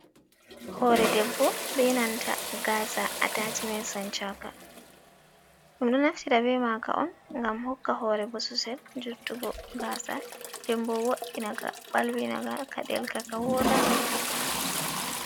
Hore ɗebbo be nanta gasa atacimen sanchanka. Ɗumdo naftira be maka on gam hokka hore bososel. juttugo gasa ɗebbo woddinaka balwi naga ka delka ka woda.